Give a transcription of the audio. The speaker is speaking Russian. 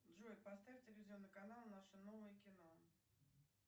джой поставь телевизионный канал наше новое кино